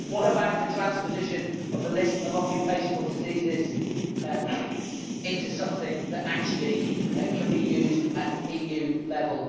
What about the transposition of the list of occupational diseases into something that actually can be used at EU level?